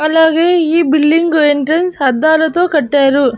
అలాగే ఈ building entrance అద్దాలతో కట్టారు.